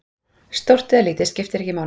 Stórt eða lítið, skiptir ekki máli.